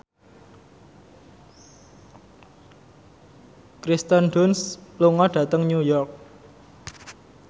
Kirsten Dunst lunga dhateng New York